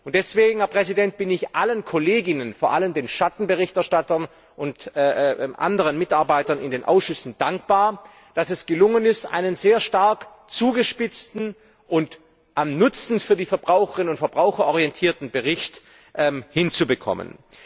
Deswegen bin ich allen Kollegen und Kolleginnen, vor allen Dingen den Schattenberichterstattern, und anderen Mitarbeitern in den Ausschüssen dankbar, dass es gelungen ist, einen sehr stark zugespitzten und am Nutzen für die Verbraucherinnen und Verbraucher orientierten Bericht hinzubekommen.